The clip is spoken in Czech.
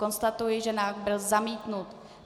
Konstatuji, že návrh byl zamítnut.